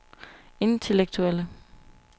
intellektuelle